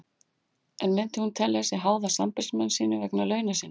En myndi hún telja sig háða sambýlismanni sínum vegna launa sinna?